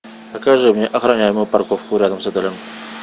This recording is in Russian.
покажи мне охраняемую парковку рядом с отелем